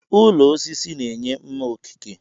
Ụlọ osisi na-enye mma okike.